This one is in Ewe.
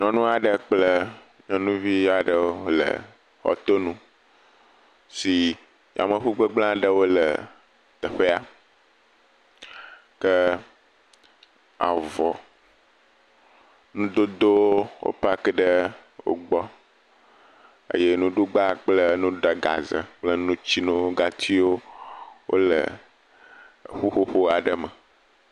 Nyɔnu aɖe kple nyɔnuvi aɖewo le xɔtonu si yameŋu gbegblẽ aɖewo le teƒea. Ke avɔ, nudodowo, wo paaki ɖe wogbɔ eye nuɖugba kple nuɖagaze kple nutsinuwo wole ƒuƒoƒo aɖe me.